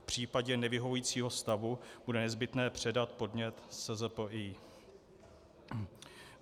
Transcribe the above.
V případě nevyhovujícího stavu bude nezbytné předat podnět SZPI.